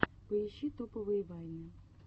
поищи топовые вайны